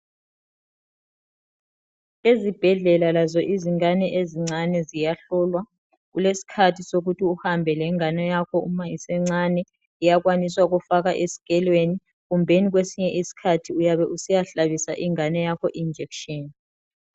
Ezibhedlela lazo izingane ezincane ziyahlolwa. Kuleskhathi sukuthi uhambe lengane yakho uma isencane, iyakwanisa ukufakwa eskelweni kumbeni kwesinye iskhathi uyabe usiyahlabisa ingane yakho injekshini.